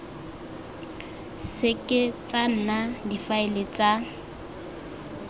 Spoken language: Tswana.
seke tsa nna difaele tsa